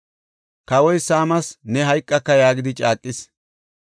Kawoy Saami, “Ne hayqaka” yaagidi caaqis.